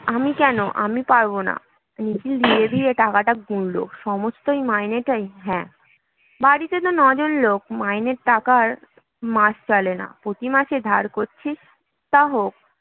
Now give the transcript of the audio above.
আমি কেন? আমি পারব না নিখিল ধীরে ধীরে টাকাটা গুনল সমস্ত মাইনেটা? হ্যাঁ বাড়িতে তোর ন-জন লোক। মাইনের টাকায় মাস চলে না। প্রতিমাসে ধার করছিস তা হোক